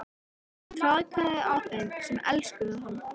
Hann traðkaði á þeim sem elskuðu hann.